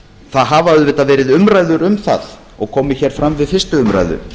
það hafa auðvitað verið umræður um það og komið hér fram við fyrstu umræðu